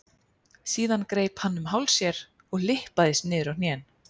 Síðan greip hann um háls sér og lyppaðist niður á hnén.